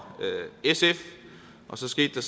sf så skete